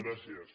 gràcies